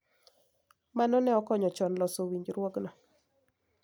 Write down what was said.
Mano ne okonyo chon loso winjruokgo.